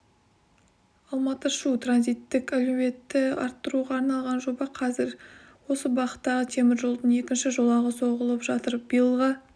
алматы-шу транзиттік әлеуетті арттыруға арналған жоба қазір осы бағыттағы темір жолдың екінші жолағы соғылып жатыр биылға